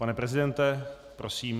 Pane prezidente, prosím.